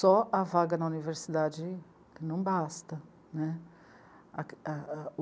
Só a vaga na universidade não basta, né.